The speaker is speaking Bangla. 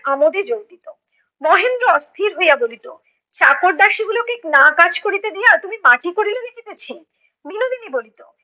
আমোদে যোগ দিতো। মহেন্দ্র অস্থির হইয়া বলিত, চাকরদাসী গুলোকে না কাজ করিতে দিয়া তুমি মাটি করিলে দেখিতেছি। বিনোদিনী বলিত,